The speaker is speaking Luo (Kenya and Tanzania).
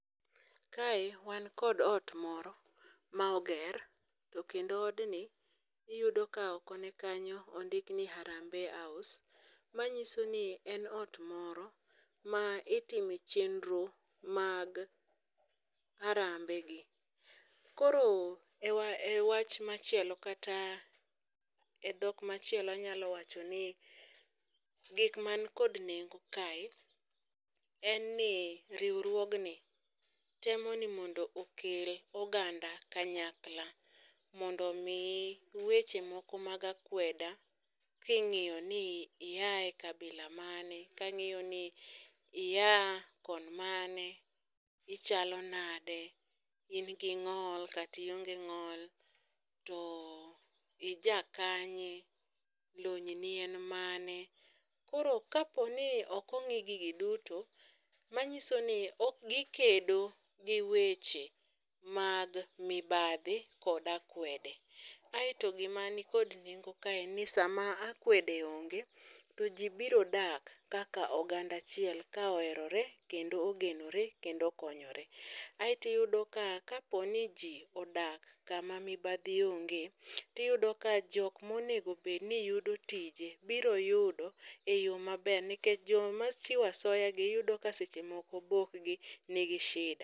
kae wan kod ot moro ma oger, to kendo odni iyudo ka oko ne kanyo ondik ni Harambee House. Manyiso ni en ot moro ma itime chenro mag arambe gi. Koro e wach machielo kata e dhok machielo anyalo wacho ni gik man kod nengo kae en ni riwruogni temo ni mondo okel oganda kanyakla. Mondo mi weche moko mag akweda king'iyo ni iae kabila mane, kang'iyo ni ia kon mane, ichalo nade, in gi ng'ol kationge ng'ol. To ija kanye, lony ni en mane? Koro kaponi ok ongi'i gigi duto, manyiso ni ok gikedo gi weche mag mibadhi kod akwede. Aeto gima nikod nengo kae en ni sama akwede onge, to ji biro dak kaka oganda achiel ka oherore kendo ogenore kendo okonyore. Aeti yudo ka kaponi ji odak kama mibadhi onge, tiyudo ka jok monego bedni yudo tije biro yudo e yo maber. Nikech joma chiwo asoya gi iyudo ka seche moko obokgi nigi shida.